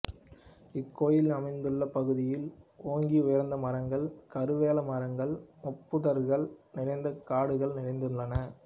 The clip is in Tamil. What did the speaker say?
இக்கோயில் அமைந்துள்ள பகுதியில் ஓங்கி உயர்ந்த மரங்கள் கருவேல மரங்கள் முற்புதர்கள் நிறைந்த காடுகள் நிறைந்துள்ளன